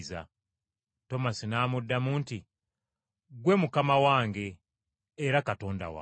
Tomasi n’amuddamu nti, “Ggwe Mukama wange era Katonda wange.”